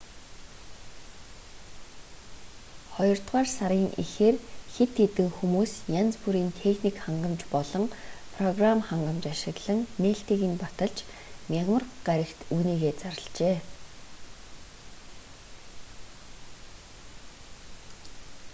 хоёрдугаар сарын эхээр хэд хээдн хүмүүс янз бүрийн техник хангамж болон программ хангамж ашиглан нээлтийг нь баталж мягмар гарагт үүнийгээ зарлажээ